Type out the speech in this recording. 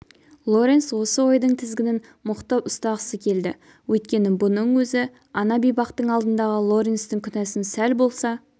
лоренс осы ойдың тізгінін мықтап ұстағысы келді өйткені бұның өзі ана бейбақтың алдындағы лоренстің күнәсін сәл болса